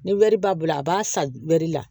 Ni wɛri b'a bolo a b'a san wɛri la